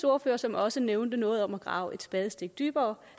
ordfører som også nævnte noget om at grave et spadestik dybere